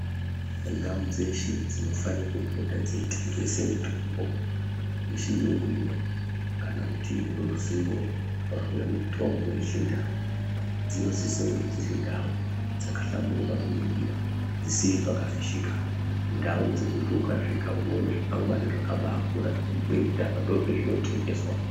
Ndau dzeshe dzinofanira kupota dzeitengese mitombo yechiyungu ineyi kana kuti ruzivo rwemitombo yechindau dzinosisokunge dzirindau dzakahlamburuka kuningira dzisiri pakafishika ndau dzekuti ukasvika unoona zvikwangwari zvakabaakura zvinobhuye kuti apa ndopazvinotengeswa.